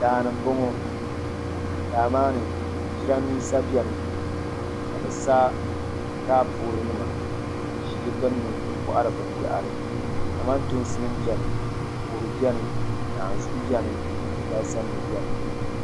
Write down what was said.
Daani n boŋo daa maa ni jiranbiisa biɛni ka bi sa taapoli nima n ʒi di gbunni n kohari binyahari kamantoosi nim biɛni kodu biɛni naanzuhi biɛni alibarisa nim biɛni